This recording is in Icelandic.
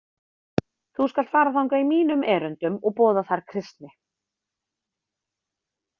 Þú skalt fara þangað í mínum erindum og boða þar kristni.